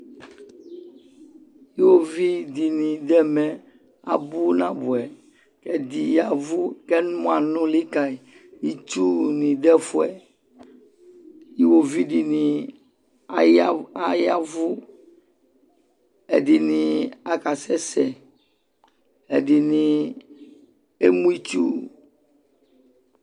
Iɣovidɩnɩ dʋ ɛmɛ abʋ nabʋɛ : ɛdɩ yavʋ k'ɛmɔ anʋlɩ ka yɩ ; itsunɩ dʋ ɛfʋɛ Iɣovidɩnɩ aya ayavʋ , ɛdɩnɩ akasɛ sɛ , ɛdɩnɩ emu itsu